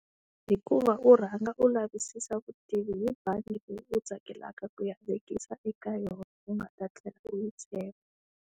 Hikuva u rhanga u lavisisa vutivi hi bangi leyi u tsakelaka ku ya vekisa eka yona, u nga ta tlhela u yi tshemba.